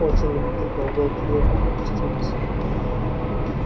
очень любопытно уголки её губ опустились